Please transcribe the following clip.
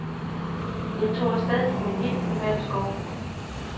Jeg tog af sted på min helt private skovtur.